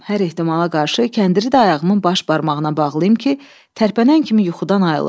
Hər ehtimala qarşı kəndiri də ayağımın baş barmağına bağlayım ki, tərpənən kimi yuxudan ayılım.